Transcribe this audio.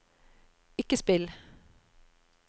ikke spill